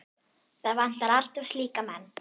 Það vantar alltaf slíka menn.